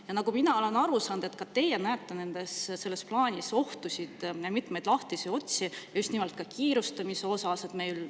Ja nagu mina olen aru saanud, ka teie näete selles plaanis ohtusid, mitmeid lahtisi otsi, just nimelt ka kiirustamise tõttu.